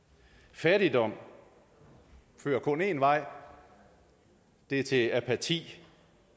fattigdom fører kun én vej at det er til apati